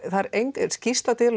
það er engin skýrsla til